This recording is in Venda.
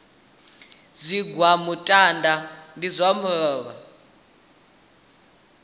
zwigwa muṱaḓa ndi zwa luvhola